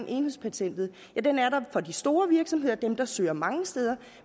enhedspatentet er der for de store virksomheder altså dem der søger mange steder